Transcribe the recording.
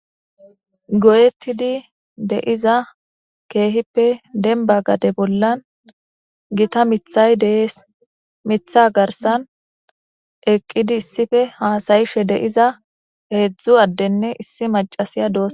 Goyetid de'iza keehippe demba gade bollan Gita mithay Des, Mitha garsan eqid issippe hasa'ishe de'iza hezdzdu adetinne issi macasiya dosona.